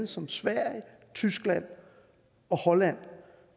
som sverige tyskland og holland